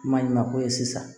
Maɲuman ko ye sisan